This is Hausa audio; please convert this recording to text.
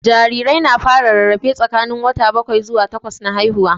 Jarirai na fara rarrafe tsakanin wata bakwai zuwa takwas na haihuwa